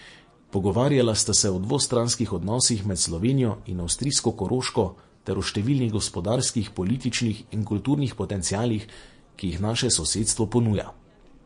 Pogovarjala sta se o dvostranskih odnosih med Slovenijo in avstrijsko Koroško ter o številnih gospodarskih, političnih in kulturnih potencialih, ki jih naše sosedstvo ponuja.